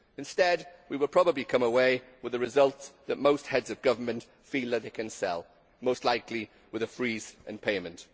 Instead we will probably come away with the result that most of Heads of Government feel that they can sell most likely with a freeze on payment.